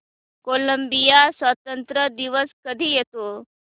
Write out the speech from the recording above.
Colombia स्वातंत्र्य दिवस कधी येतो